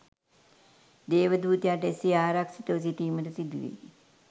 දේවදූතයාට එසේ ආරක්‍ෂිතව සිටීමට සිදුවේ.